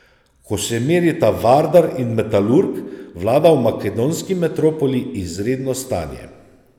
Ko se merita Vardar in Metalurg, vlada v makedonski metropoli izredno stanje.